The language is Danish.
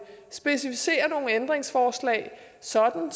specificere nogle ændringsforslag sådan